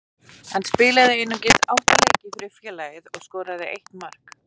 Hann spilaði einungis átta leiki fyrir félagið og skoraði eitt mark.